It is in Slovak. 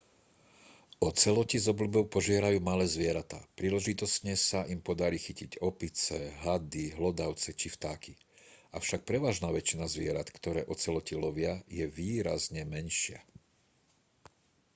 oceloti s obľubou požierajú malé zvieratá príležitostne sa im podarí chytiť opice hady hlodavce či vtáky avšak prevažná väčšina zvierat ktoré oceloti lovia je výrazne menšia